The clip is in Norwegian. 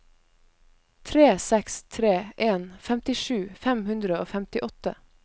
tre seks tre en femtisju fem hundre og femtiåtte